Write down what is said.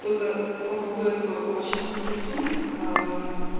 кто-то по поводу этого очень комплексует ай